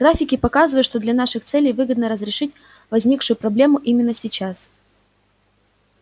графики показывают что для наших целей выгодно разрешить возникшую проблему именно сейчас